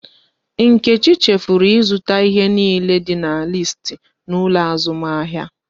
Nkechi chefuru ịzụta ihe niile dị n'listi n'ụlọ azụmahịa